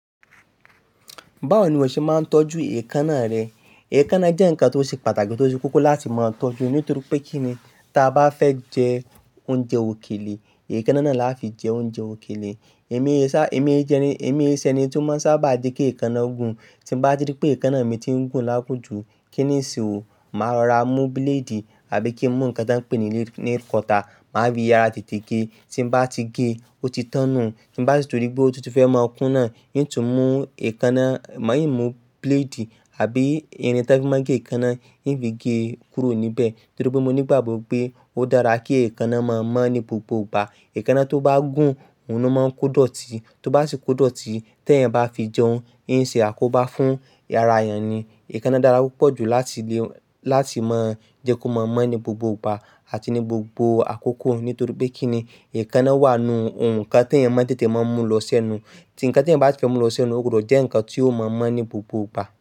Báwo ni iwọ́ ṣe máa ń tọ́jú èékánná rẹ? Èékánná jẹ́ nǹkan tó ṣe pàtàkì tó ṣe kókó láti máa tọ́jú nítorí pé kíni, tí a bá fẹ́ jẹ oúnjẹ òkèlè, èékánná náà láfi jẹ oúnjẹ òkèlè. Èmi sá, èmi jẹ́ ẹni, èmi ṣẹni tí ó máa ń sábà jẹ́ kí èékánná gùn. Tí n bá tí pé èékánná mi ti ń gùn lágùn jù, kíni n se ó, màá rọra mú bíléèdì àbí kí n mú nǹkan tí wọ́n pè ní nail cutter, màá fi yára tètè gé. Tí n bá ti gé, ó ti tán nuu, tí mo bá rí si tun rí pé ó tun ti fẹ́ máa kún náà, i n tún mú èékánná, maa yi mú bíléèdì àbí irin tan fi máa ń gé èékánná, i n fi gé kúrò níbẹ̀. Nítorí pé mo nígbàgbọ́ pé ó dára kí èékánná máa mọ́ ní gbogbo ìgbà. Èékánná tó bá gùn, òun ló máa ń kó dọ̀tí. Tó bá sì kó dọ̀tí, tí ẹ̀yan bá fi jẹun, n lṣe àkóbá fún ara ẹ̀yan ni. Èékánná dára púpọ̀ jù láti lè, láti máa jẹ́ kó máa mọ́ ní gbogbo ìgbà àti ní gbogbo àkókò. Nítorí pé kíni èékánná wà nù nǹkan tí ẹ̀yan máa ń tètè máa mú lọ sẹ́nu. Ti nǹkan tí ẹ̀yan bá si fẹ́ mú lọ sẹ́nu, ó gbọdọ̀ jẹ́ nǹkan tí yóò máa mọ́ ní gbogbo ìgbà.